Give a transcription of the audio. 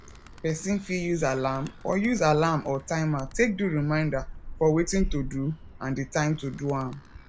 person fit use alarm or use alarm or timer take do reminder for wetin to do and di time to do am